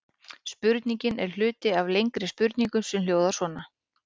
Spurningin er hluti af lengri spurningu sem hljóðar svona: